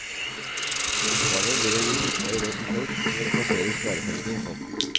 Oppgaven blir å gi fruktbare råd til folk som vil plassere sparepengene i fond.